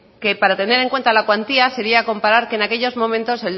que para tener en cuenta la cuantía sería comparar que en aquellos momentos